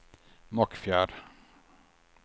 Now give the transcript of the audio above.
Mockfjärd